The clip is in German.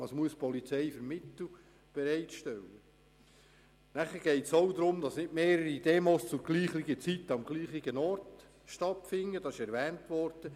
Es geht auch darum, dass nicht mehrere Demonstrationen zur selben Zeit am selben Ort stattfinden sollen.